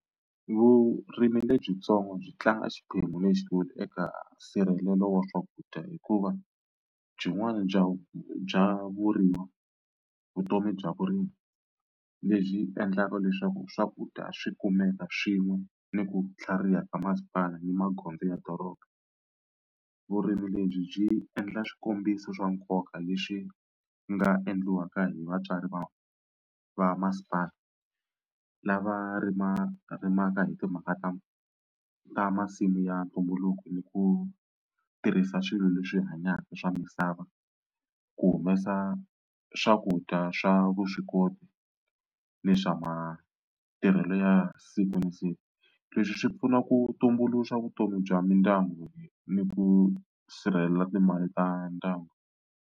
Vurimi lebyitsongo byi tlanga xiphemu lexikulu eka nsirhelelo wa swakudya hikuva byin'wana bya vu bya vurimi vutomi bya vurimi lebyi endlaka leswaku swakudya swi kumeka swin'we ni ku tlhariha ka masipala ni magondzo ya doroba. Vurimi lebyi byi endla swikombiso swa nkoka leswi nga endliwaka hi vatswari va va masipala lava rimarimaka hi timhaka ta ta masimu ya ntumbuluko ni ku tirhisa swilo leswi hanyaka swa misava ku humesa swakudya swa vuswikoti ni swa matirhelo ya siku na siku. Leswi swi pfuna ku tumbuluxa vutomi bya mindyangu ni ku sirhelela timali ta ndyangu.